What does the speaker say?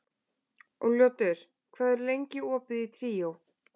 Úlfljótur, hvað er lengi opið í Tríó?